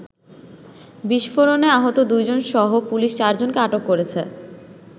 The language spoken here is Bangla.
বিস্ফোরণে আহত দু’জনসহ পুলিশ চারজনকে আটক করেছে।